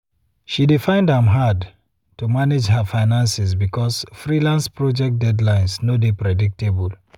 she dey find am hard to manage her finances because freelance project deadlines no dey predictable.